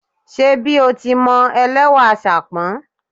Ṣe bí o ti mọ, ẹlẹ́wà ṣàpọ́n